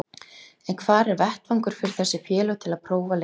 En hvar er vettvangur fyrir þessi félög til að prófa leikmenn?